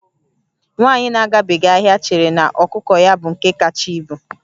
Nwaanyị na-agabeghị ahịa chere na ọkụkọ ya bụ nke kacha ibu